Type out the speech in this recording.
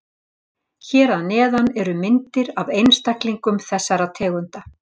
Hér að neðan eru myndir af einstaklingum þessara tegunda.